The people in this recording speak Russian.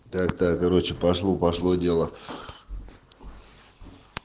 тогда короче пошло пошло дело